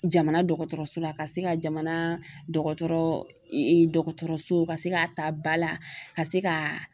Jamana dɔgɔtɔrɔso la, ka se ka jamana dɔgɔtɔrɔ dɔgɔtɔrɔso ka se ka ta ba la ka se ka